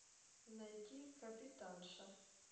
найти капитанша